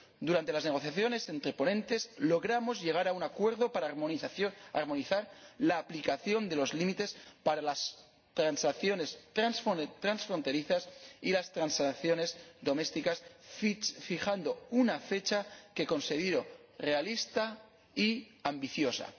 Durante las negociaciones entre ponentes logramos llegar a un acuerdo para armonizar la aplicación de los límites para las transacciones transfronterizas y las transacciones domésticas, fijando una fecha que considero realista y ambiciosa.